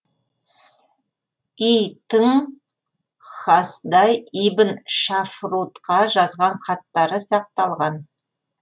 и тың хасдай ибн шафрутқа жазған хаттары сақталған